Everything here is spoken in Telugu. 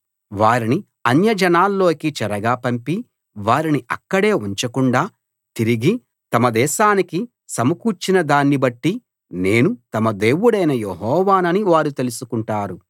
వారిని అన్యజనాల్లోకి చెరగా పంపి వారిని అక్కడే ఉంచకుండా తిరిగి తమ దేశానికి సమకూర్చినదాన్ని బట్టి నేను తమ దేవుడైన యెహోవానని వారు తెలుసుకుంటారు